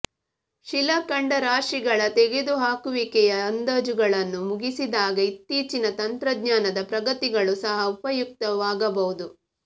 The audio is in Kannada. ಶಿಲಾಖಂಡರಾಶಿಗಳ ತೆಗೆದುಹಾಕುವಿಕೆಯ ಅಂದಾಜುಗಳನ್ನು ಮುಗಿಸಿದಾಗ ಇತ್ತೀಚಿನ ತಂತ್ರಜ್ಞಾನದ ಪ್ರಗತಿಗಳು ಸಹ ಉಪಯುಕ್ತವಾಗಬಹುದು